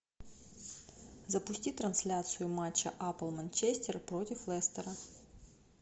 запусти трансляцию матча апл манчестер против лестера